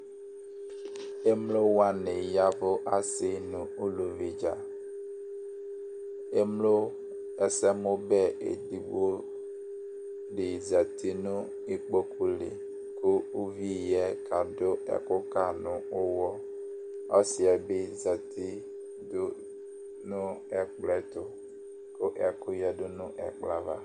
emlo wʋani yavu asi nu uluvi luvi dza, emlo ɛsɛmu bɛ edigbo di yati nu ikpoku li ku uvi yɛ ka du ɛku ka nu uwɔ, ɔsiɛ bi yati du nu ɛkplɔ ɛtɛ tu ku ɛku yadu nu ɛkplɔɛ ava